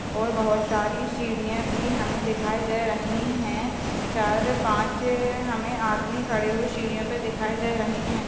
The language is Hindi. और बहुत सारी सीढियाँ भी हमें दिखाई दे रही हैं चार पाँच अ हमें आदमी खड़े हुई सीढियों पे दिखाई दे रहे हैं।